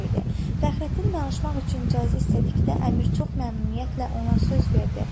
Fəxrəddin danışmaq üçün icazə istədikdə əmir çox məmnuniyyətlə ona söz verdi.